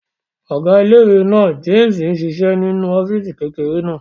Ọ̀gá ilé-ìwé náà, Jémìsì n ṣiṣẹ́ nínú ọ́fìsì kékeré náà